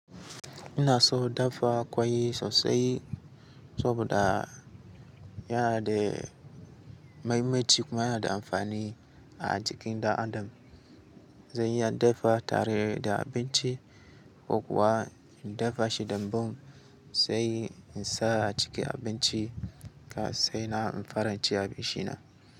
Ina so daffa kwai sosai saboda yana da muhimmanci kuma yana da amfani a jikin ɗan adam. Zan iya daffa tare da abinci ko kuwa in daffa shi damban sai in sa a cikin abinci ka sai na in faran ci abinci na.